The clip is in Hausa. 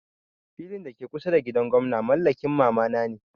Filin da ke kusa da gidan gwamna mallakin mama na ne.